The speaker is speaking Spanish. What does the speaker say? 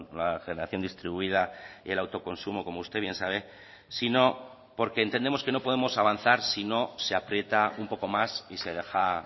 la generación distribuida y el autoconsumo como usted bien sabe sino porque entendemos que no podemos avanzar si no se aprieta un poco más y se deja